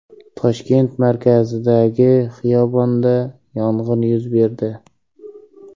Toshkent markazidagi xiyobonda yong‘in yuz berdi.